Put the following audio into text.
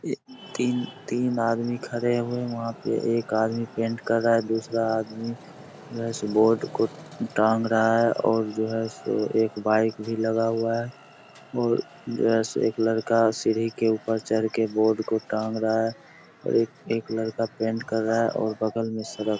ये तीन-तीन आदमी खड़े हुए हैं वहां पे एक आदमी पेंट कर रहा है दूसरा आदमी ब्रश बोर्ड को टांग रहा है और जो है सो एक बाइक भी लगा हुआ है और जो है सो एक लड़का सीढ़ी के ऊपर चढ़ के बोर्ड को टांग रहा है और एक लड़का पेंट कर रहा है और बगल में सड़क --